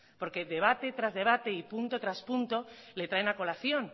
porque debate tras debate y punto tras punto le traen a colación